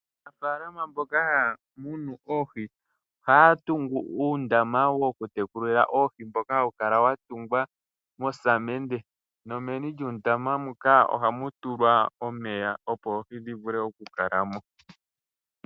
Aanafaalama mboka haya munu oohi ohaya tungu uundama wokutekulila oohi mboka hawu kala wa tungwa mosamende, nomeni lyuundama mbuka oha mu tulwa omeya opo oohi dhi vule okukala mo.